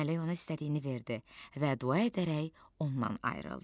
Mələk ona istədiyini verdi və dua edərək ondan ayrıldı.